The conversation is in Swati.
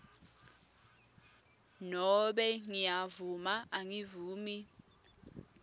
nobe ngiyavuma angivumi